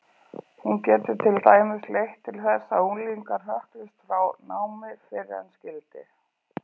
Hún getur til dæmis leitt til þess að unglingar hrökklist frá námi fyrr en skyldi.